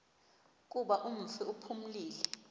kuba umfi uphumile